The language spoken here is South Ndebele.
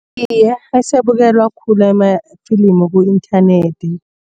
Iye, asabukelwa khulu amafilimu ku-internet.